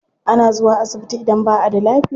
Ana zuwa asibiti idan ba a da lafiya.